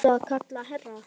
Varstu að kalla, herra?